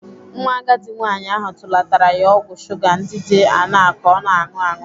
Nwa agadi nwaanyị ahụ tụlatara ya ọgwụ shuga ndị dị aṅaa ka ọ na-anụ aṅụ.